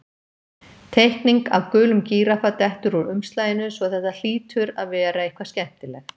Teikning af gulum gíraffa dettur úr umslaginu svo þetta hlýtur að vera eitthvað skemmtilegt.